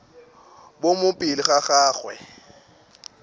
bo mo pele ga gagwe